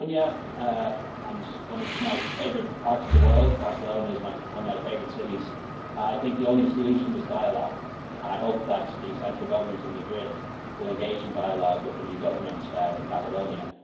Catalonia one of my favourite parts of the world, and Barcelona is one of my favourite cities I think the only solution is dialogue, and I hope that the central Government in Madrid will engage in dialogue with the new Government in Catalonia.